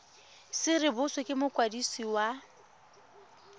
se rebotswe ke mokwadisi wa